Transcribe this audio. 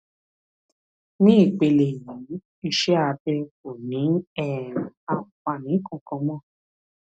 ní ìpele yìí iṣẹ abẹ kò ní um àǹfààní kankan mọ